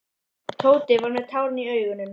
Tóti var með tárin í augunum.